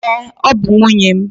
Ee, ọ bụ nwunye m.